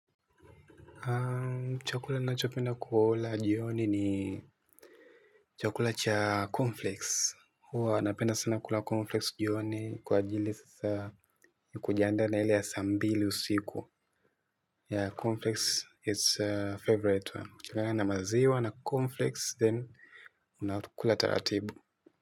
Chakula ninacho penda kula jioni ni chakula cha cornflakes huwa napenda sana kula cornflakes jioni kwa ajili sasa kujiandaa ile ya saa mbili usiku yeah cornflakes its favourite one na maziwa na cornflakes then unakula taratibu.